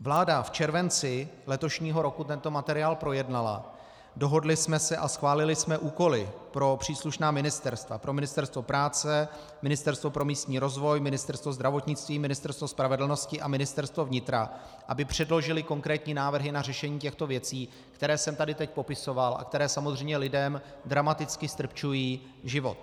Vláda v červenci letošního roku tento materiál projednala, dohodli jsme se a schválili jsme úkoly pro příslušná ministerstva, pro Ministerstvo práce, Ministerstvo pro místní rozvoj, Ministerstvo zdravotnictví, Ministerstvo spravedlnosti a Ministerstvo vnitra, aby předložila konkrétní návrhy na řešení těchto věcí, které jsem tady teď popisoval a které samozřejmě lidem dramaticky ztrpčují život.